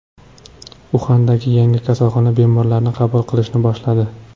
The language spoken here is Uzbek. Uxandagi yangi kasalxona bemorlarni qabul qilishni boshladi.